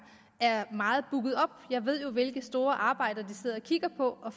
er meget booket op jeg ved jo hvilke store arbejder de sidder og kigger på og